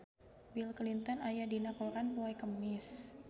Bill Clinton aya dina koran poe Kemis